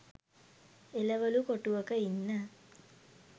එළවළු කොටුවක ඉන්න